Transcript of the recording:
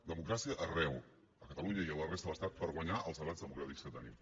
democràcia arreu a catalunya i a la resta de l’estat per guanyar els debats democràtics que tenim